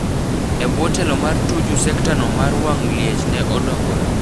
Ebwo telo mar Tuju sekta no mar wang liech ne odongore.